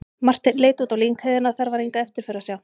Marteinn leit út á lyngheiðina, þar var enga eftirför að sjá.